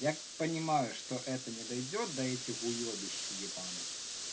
я понимаю что это не дойдёт до этих уёбищь ебаных